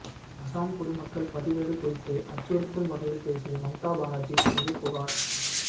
அசாம் குடிமக்கள் பதிவேடு குறித்து அச்சுறுத்தும் வகையில் பேசிய மம்தா பானர்ஜீ மீது புகார்